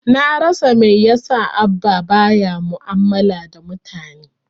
Na rasa mai yasa Abba ba ya mu'amala da mutane.